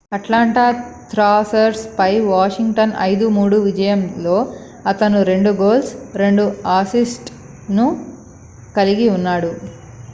Atlanta Thrashers పై Washington 5-3 విజయంలో అతను 2 గోల్స్ 2 అసిస్ట్ లను కలిగి ఉన్నాడు